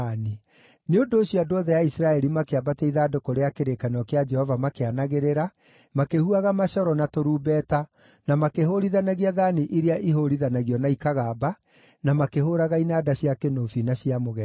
Nĩ ũndũ ũcio andũ othe a Isiraeli makĩambatia ithandũkũ rĩa kĩrĩkanĩro kĩa Jehova makĩanagĩrĩra, makĩhuhaga macoro na tũrumbeta, na makĩhũũrithanagia thaani iria ihũũrithanagio na ikagamba, na makĩhũũraga inanda cia kĩnũbi na cia mũgeeto.